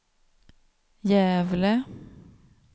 Gävle